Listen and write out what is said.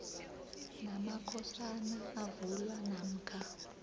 namakhosana avulwa namkha